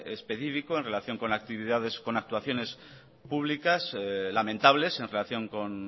específico en relación con actividades con actuaciones públicas lamentables en relación con